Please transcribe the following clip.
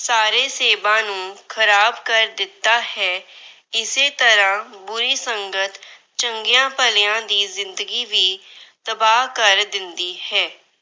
ਸਾਰੇ ਸੇਬਾਂ ਨੂੰ ਖਰਾਬ ਕਰ ਦਿੱਤਾ ਹੈ। ਇਸੇ ਤਰ੍ਹਾਂ ਬੁਰੀ ਸੰਗਤ ਚੰਗਿਆਂ ਭਲਿਆਂ ਦੀ ਜਿੰਦਗੀ ਵੀ ਤਬਾਹ ਕਰ ਦਿੰਦੀ ਹੈ।